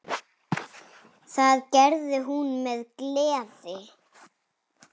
Það gerði hún með gleði.